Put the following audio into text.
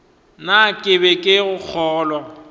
na ke be ke kgolwa